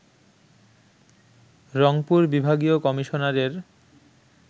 রংপুর বিভাগীয় কমিশনারের